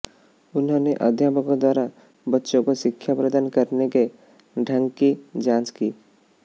उन्होंने अध्यापकों द्वारा बच्चों को शिक्षा प्रदान करने के ढंग की जांच की